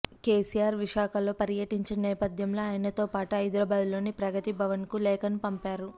కేసీఆర్ విశాఖలో పర్యటించిన నేపథ్యంలో ఆయనతో పాటు హైదరాబాద్లోని ప్రగతి భవన్కు లేఖను పంపారు